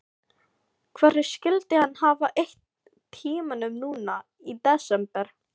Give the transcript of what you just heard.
Hvernig skyldi hann hafa eytt tímanum núna í desember?